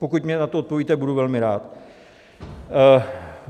Pokud mně na to odpovíte, budu velmi rád.